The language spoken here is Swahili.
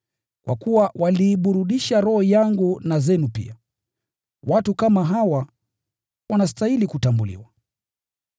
Kwa kuwa waliiburudisha roho yangu na zenu pia. Watu kama hawa wanastahili kutambuliwa.